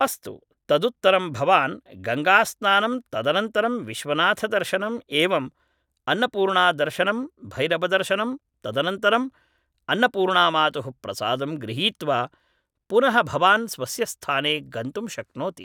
अस्तु तदुत्तरं भवान् गङ्गास्नानं तदनन्तरं विश्वनाथदर्शनम् एवम् अन्नपूर्णादर्शनं भैरवदर्शनं तदनन्तरम् अन्नपूर्णामातुः प्रसादं गृहीत्वा पुनः भवान् स्वस्य स्थाने गन्तुं शक्नोति